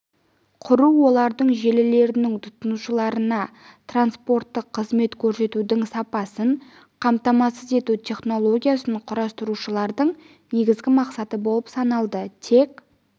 құру олардың желілерінің тұтынушыларына транспорттық қызмет көрсетудің сапасын қамтамасыз ету технологиясын құрастырушылардың негізгі мақсаты болып саналды тек